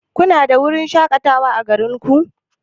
Kuna da wurin shakatawa ã garin ku?